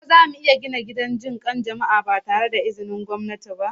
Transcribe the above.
Ko zamu iya gina gidan jin kan jama'a ba tare da izinin gwamnati ba?